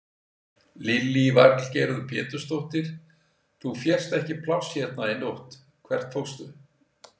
Lillý Valgerður Pétursdóttir: Þú fékkst ekki pláss hérna í nótt, hvert fórstu?